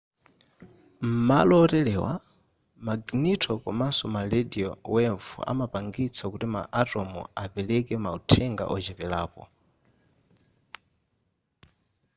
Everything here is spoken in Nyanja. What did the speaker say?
m'malo oterewa maginito komanso ma radio wave amapangitsa kuti ma atom apereke mauthenga wocheperako